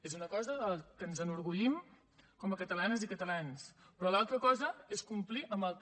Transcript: és una cosa de què ens enorgullim com a catalanes i catalans però l’altra cosa és complir amb el que